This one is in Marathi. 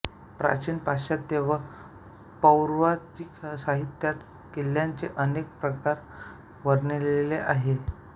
प्राचीन पाश्चात्त्य व पौर्वात्य साहित्यात किल्ल्यांचे अनेक प्रकार वर्णिलेले आहेत